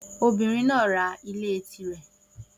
Obìnrin náà ra ilé tirẹ̀.